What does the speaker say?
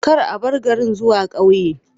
Kar a bar garin zuwa ƙauye